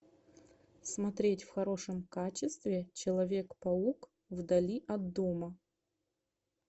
смотреть в хорошем качестве человек паук вдали от дома